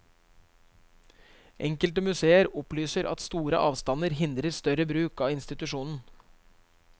Enkelte museer opplyser at store avstander hindrer større bruk av institusjonen.